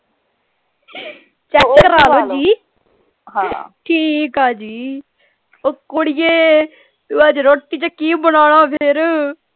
check ਕਰਾਲੋ ਜੀ ਹਾਂ ਠੀਕ ਆ ਜੀ ਉਹ ਕੁੜੀਏ ਤੂੰ ਅੱਜ ਰੋਟੀ ਚ ਕੀ ਬਣਾਉਣਾ ਫੇਰ।